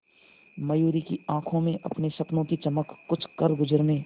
मयूरी की आंखों में अपने सपनों की चमक कुछ करगुजरने